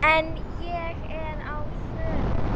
En ég er á förum.